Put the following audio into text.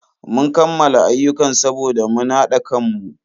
Mun kammala ayyukan saboda mun hada kanmu.